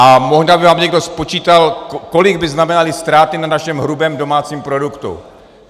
A možná by vám někdo spočítal, kolik by znamenaly ztráty na našem hrubém domácím produktu.